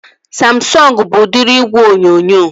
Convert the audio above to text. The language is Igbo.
Samsọngu bụ udiri igwe onyonyo